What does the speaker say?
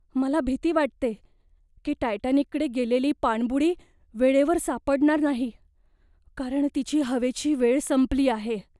मला भीती वाटते की टायटॅनिकडे गेलेली पाणबुडी वेळेवर सापडणार नाही, कारण तिची हवेची वेळ संपली आहे.